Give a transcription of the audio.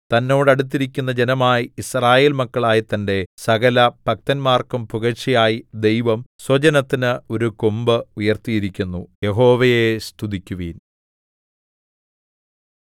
തന്നോട് അടുത്തിരിക്കുന്ന ജനമായി യിസ്രായേൽ മക്കളായ തന്റെ സകലഭക്തന്മാർക്കും പുകഴ്ചയായി ദൈവം സ്വജനത്തിന് ഒരു കൊമ്പ് ഉയർത്തിയിരിക്കുന്നു യഹോവയെ സ്തുതിക്കുവിൻ